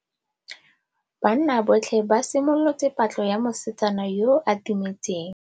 Banna botlhê ba simolotse patlô ya mosetsana yo o timetseng.